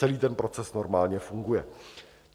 Celý ten proces normálně funguje.